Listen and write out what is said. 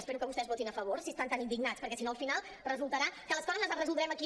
espero que vostès votin a favor si estan tan indignats perquè si no al final resultarà que les coses les resoldrem aquí